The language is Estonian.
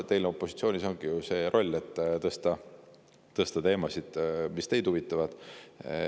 Teil opositsioonis olles ongi ju see roll, et tõstatada teemasid, mis teid huvitavad.